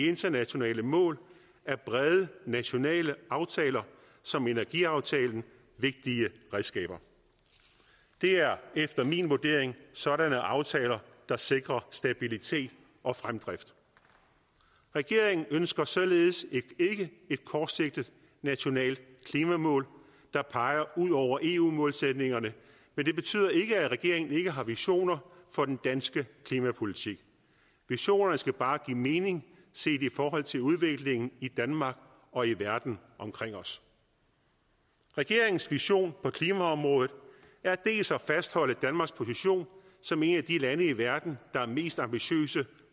internationale mål er brede nationale aftaler som energiaftalen vigtige redskaber det er efter min vurdering sådanne aftaler der sikrer stabilitet og fremdrift regeringen ønsker således ikke et kortsigtet nationalt klimamål der peger ud over eu målsætningerne men det betyder ikke at regeringen ikke har visioner for den danske klimapolitik visionerne skal bare give mening set i forhold til udviklingen i danmark og i verden omkring os regeringens vision på klimaområdet er dels at fastholde danmarks position som et af de lande i hele verden der er mest ambitiøst